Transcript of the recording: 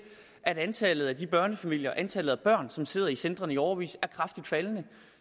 at antallet af børnefamilier og antallet af børn som sidder i centrene i årevis er kraftigt faldende